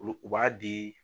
Ulu u b'a di